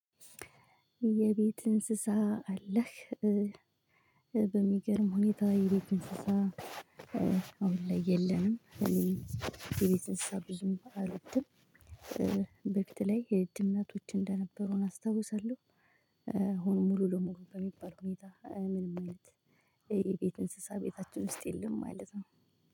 የቤት እንስሳ አለህ? በሚገርም ሁኔታ የቤት እንስሳ ላይ የለንም። እኔ የቤት አንስሳ ብዙም አልወድም። በፊት ላይ ድመቶች እንደነበሩን አስታውሳለሁ። ሙሉ ለሙሉ በሚባል ሁኔታ ምንም አይነት የቤት እንስሳ ቤታችን ውስጥ የለም ማለት ነው